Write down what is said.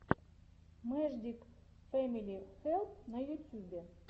мэждик фэмили хэлп на ютюбе